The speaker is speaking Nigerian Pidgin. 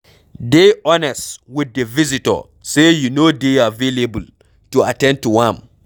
Dey honest with di visitor sey you no dey available to at ten d to am